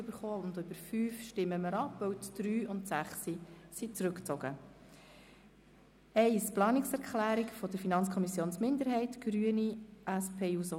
Wir stimmen über fünf Anträge ab, zuerst über die Planungserklärung 1 von FiKo-Minderheit und den Grünen.